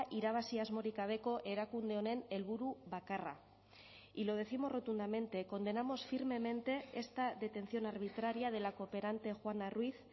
irabazi asmorik gabeko erakunde honen helburu bakarra y lo décimos rotundamente condenamos firmemente esta detención arbitraria de la cooperante juana ruíz